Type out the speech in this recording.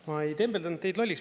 Ma ei tembeldanud teid lolliks.